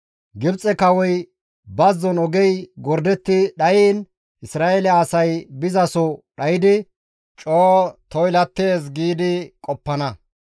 Gibxe Kawoy, ‹Bazzon ogey gordetti dhayiin Isra7eele asay bizaso dhaydi coo toylattees› giidi qoppana.